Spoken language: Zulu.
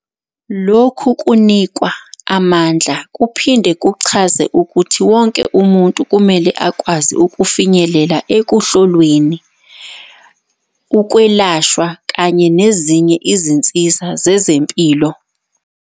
Lokhu kunikwa amandla kuphinde kuchaze ukuthi wonke umuntu kumele akwazi ukufinyelela ekuhlolweni, ukwelashwa kanye nezinye izinsiza zezempilo.